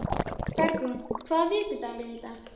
Bergrún, hvaða vikudagur er í dag?